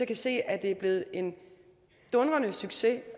kan se at det er blevet en dundrende succes